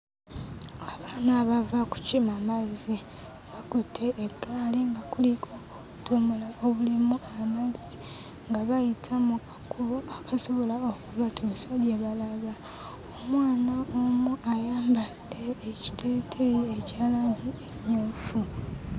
Abaana bava kukima mazzi. Bakutte eggaali nga kuliko obudomola obulimu amazzi nga bayita mu kakubo akasobola okubatuusa gye balaga. Omwana omu ayambadde ekiteeteeyi ekya langi emmyufu.